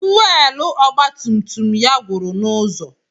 Fuwelu ọgba tum tum ya gwụrụ n'ụzọ.